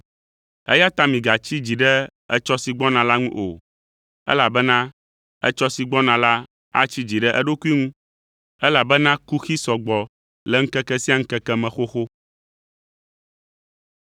Eya ta migatsi dzi ɖe etsɔ si gbɔna la ŋu o, elabena etsɔ si gbɔna la atsi dzi ɖe eɖokui ŋu elabena kuxi sɔ gbɔ le ŋkeke sia ŋkeke me xoxo.